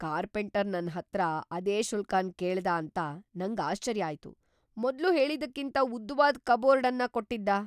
Carpenter ನನ್ ಹತ್ರ ಅದೇ ಶುಲ್ಕನ್ ಕೇಳ್ದ ಅಂತ ನಂಗ್ ಆಶ್ಚರ್ಯ ಆಯ್ತು. ಮೊದ್ಲು ಹೇಳಿದ್ದಕ್ಕಿಂತ ಉದ್ದವಾದ್ ಕಬೋರ್ಡ್ ಅನ್ ಕೊಟ್ಟಿದ್ದ.